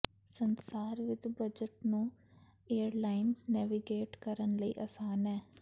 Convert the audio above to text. ਸੰਸਾਰ ਵਿਚ ਬਜਟ ਨੂੰ ਏਅਰਲਾਈਨਜ਼ ਨੈਵੀਗੇਟ ਕਰਨ ਲਈ ਆਸਾਨ ਹੈ